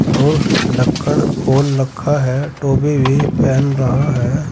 और ढक्कन खोल रखा है टोपी भी पहन रहा है।